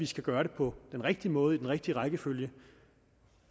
skal gøres på den rigtige måde i den rigtige rækkefølge